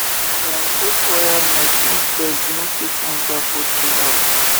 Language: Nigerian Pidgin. dem put wire mesh make birds no fit enter poultry house